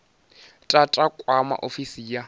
tata u kwama ofisi ya